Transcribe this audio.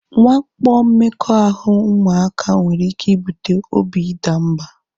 Nwakpo mmekọahụ ụmụaka nwere ike ibute obi idamba